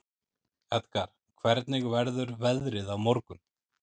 Edgar, hvernig verður veðrið á morgun?